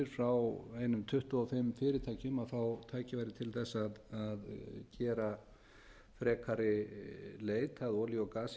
frá einum tuttugu og fimm fyrirtækjum að fá tækifæri til þess að gera frekari leit að